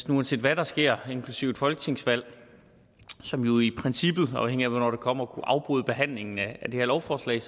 uanset hvad der sker inklusive et folketingsvalg som jo i princippet afhængigt af hvornår det kommer kan afbryde behandlingen af det her lovforslag